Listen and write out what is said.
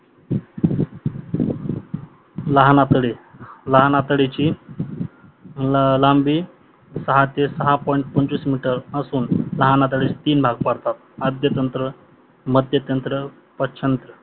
लहान आतडे लहान आतडेची लांबी सहा ते सहा पॉईंट पंचवीस मीटर असुन लहान आतडेचे तीन भाग पडतात आद्यांत्र, मध्यांत्र व पशचत